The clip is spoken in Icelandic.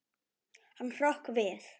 Hann hrökk við.